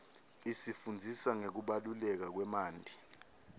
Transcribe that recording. isifundzisa ngekubaluleka kwemanti